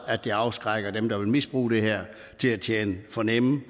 at det afskrækker dem der vil misbruge det her til at tjene for nemme